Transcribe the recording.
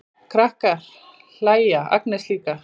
Krakkarnir hlæja, Agnes líka.